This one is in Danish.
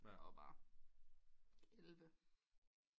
Og var elleve